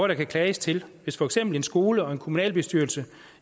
der kan klages til hvis for eksempel en skole og en kommunalbestyrelse